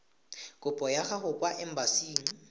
kopo ya gago kwa embasing